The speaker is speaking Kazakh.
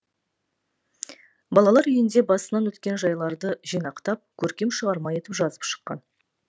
балалар үйінде басынан өткен жайларды жинақтап көркем шығарма етіп жазып шыққан